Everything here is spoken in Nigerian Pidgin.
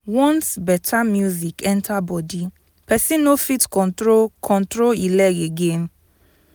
once better music enter body person no fit control control e leg again.